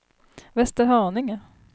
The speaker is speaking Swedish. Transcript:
Västerhaninge